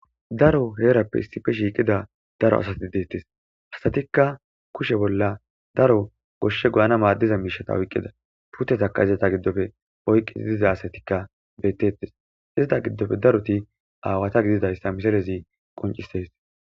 Daro heerappe issife shiiqida daro asati deettes hasatikka kushe bolla daro goshshe guana maaddiza miishata oyqqida putezaka izata giddofe oyqqii diza asatikka bettettes izata giddofe daroti awata gididayssa miserezi qoncises.